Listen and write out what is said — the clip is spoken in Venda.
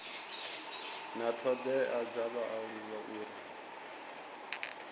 na thodea dza vhaaluwa uri